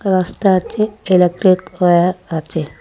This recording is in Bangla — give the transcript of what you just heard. রাস্তা আছে ইলেকট্রিক ওয়্যার আছে।